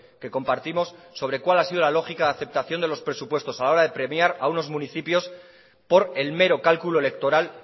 que compartimos sobre cuál ha sido la lógica de aceptación de los presupuestos a la hora de premiar a unos municipios por el mero cálculo electoral